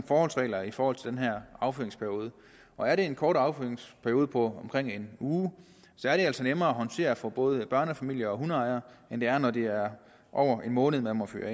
forholdsregler i forhold til den her affyringsperiode og er det en kort affyringsperiode på omkring en uge er det altså nemmere at håndtere for både børnefamilier og hundeejere end det er når det er over en måned man må fyre